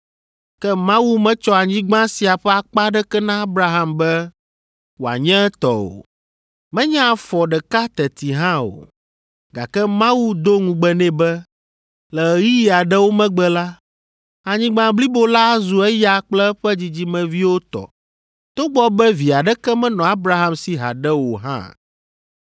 Ke Mawu metsɔ anyigba sia ƒe akpa aɖeke na Abraham be wòanye etɔ o. Menye afɔ ɖeka teti hã o. Gake Mawu do ŋugbe nɛ be le ɣeyiɣi aɖewo megbe la, anyigba blibo la azu eya kple eƒe dzidzimeviwo tɔ, togbɔ be vi aɖeke menɔ Abraham si haɖe o hã.